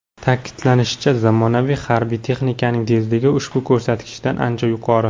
Ta’kidlanishicha, zamonaviy harbiy texnikaning tezligi ushbu ko‘rsatkichdan ancha yuqori.